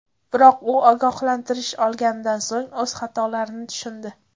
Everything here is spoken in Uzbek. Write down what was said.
Biroq u ogohlantirish olganidan so‘ng o‘z xatolarini tushundi.